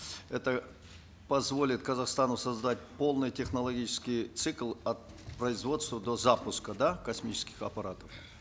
это позволит казахстану создать полный технологический цикл от производства до запуска да космических аппаратов